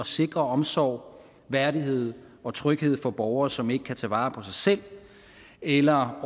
sikre omsorg værdighed og tryghed for borgere som ikke kan tage vare på sig selv eller